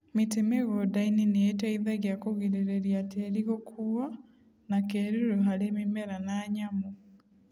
Mĩtĩ mĩgũnda-inĩ nĩ ĩteithagia kũgirĩrĩria tĩĩri gũkuwo na kĩĩruru harĩ mĩmera na nyamũ.